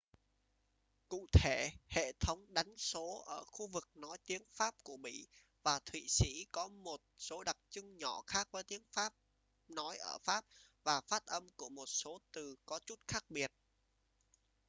cụ thể hệ thống đánh số ở khu vực nói tiếng pháp của bỉ và thụy sĩ có một số đặc trưng nhỏ khác với tiếng pháp nói ở pháp và phát âm của một số từ có chút khác biệt